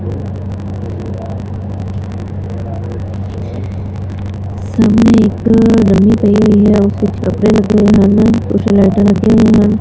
ਸਾਹਮਣੇ ਇੱਕ ਡਮੀ ਪਈ ਹੋਈ ਹੈ ਉਸ ਵਿੱਚ ਕੱਪੜੇ ਲੱਦੇ ਹਨ ਲਾਈਟਾਂ ਲੱਗੀਆਂ ਹੋਈਆਂ ਹਨ।